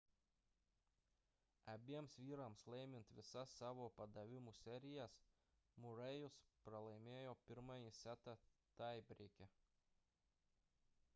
abiems vyrams laimint visas savo padavimų serijas murray'us pralaimėjo pirmąjį setą taibreike